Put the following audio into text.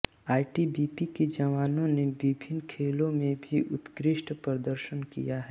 ITBP के जवानों ने विभिन्न खेलों में भी उत्कृष्ट प्रदर्शन किया है